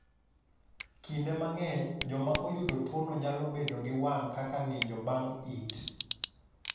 Kinde mang’eny, joma oyudo tuwono nyalo bedo gi wang’ kaka ng’injo bang’ it.